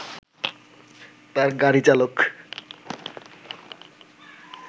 তার গাড়ি চালক